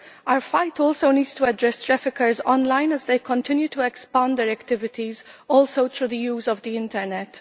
Our fight also needs to address traffickers online as they continue to expand their activities through the use of the Internet.